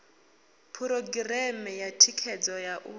phurogireme ya thikhedzo ya u